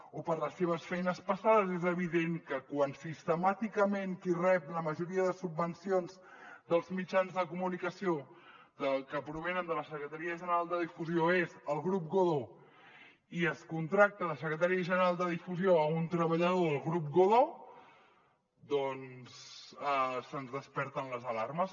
o per les seves feines passades és evident que quan sistemàticament qui rep la majoria de subvencions dels mitjans de comunicació que provenen de la secretaria general de difusió és el grup godó i es contracta de secretari general de difusió un treballador del grup godó doncs se’ns desperten les alarmes